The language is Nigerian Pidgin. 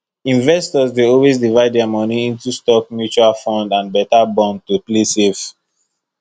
investors dey always divide their money into stock mutual fund and better bond to play safe